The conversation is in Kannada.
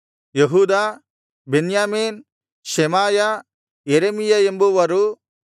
ಯೆಹೂದ ಬೆನ್ಯಾಮೀನ್ ಶೆಮಾಯ ಯೆರೆಮೀಯ ಎಂಬುವರೂ